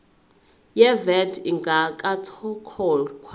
ye vat ingakakhokhwa